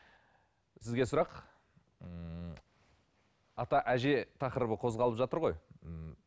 сізге сұрақ ммм ата әже тақырыбы қозғалып жатыр ғой ммм